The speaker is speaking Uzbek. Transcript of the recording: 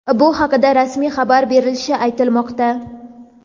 bu haqida rasmiy xabar berilishi aytilmoqda.